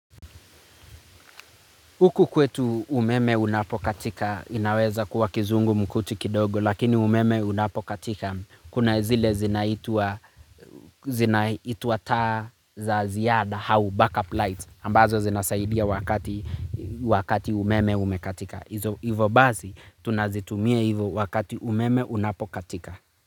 Huku kwetu umeme unapokatika inaweza kuwa kizungumkuti kidogo lakini umeme unapokatika kuna zile zinaitwa taa za ziada au backup light ambazo zinasaidia wakati umeme umekatika. Hivyo basi tunazitumia hizo wakati umeme unapokatika.